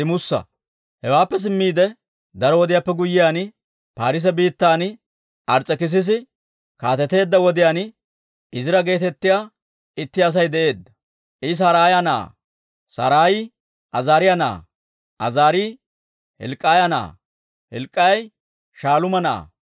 Hewaappe simmiide, daro wodiyaappe guyyiyaan, Paarise biittan Ars's'ekissisi kaateteedda wodiyaan Izira geetettiyaa itti Asay de'eedda. I Saraaya na'aa; Saraayi Azaariyaa na'aa; Azaarii Hilk'k'iyaa na'aa; Hilk'k'ii Shaaluuma na'aa;